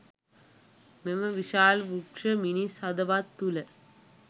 මෙම විශාල වෘක්ෂ මිනිස් හදවත් තුළ